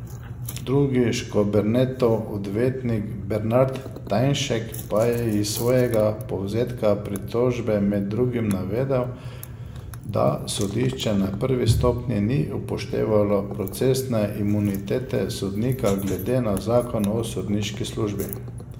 Drugi Škobernetov odvetnik Bernard Tajnšek pa je iz svojega povzetka pritožbe med drugim navedel, da sodišče na prvi stopnji ni upoštevalo procesne imunitete sodnika glede na zakon o sodniški službi.